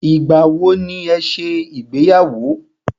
Ìgbà wọ ní ẹ ṣe ìgbéyàwó?